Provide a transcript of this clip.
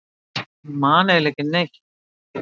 Ég man eiginlega ekki neitt.